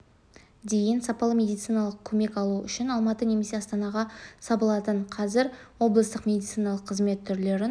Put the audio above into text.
дейін сапалы медициналық көмек алу үшін алматы немесе астанаға сабылатын қазір облыстық медициналық қызмет түрлерін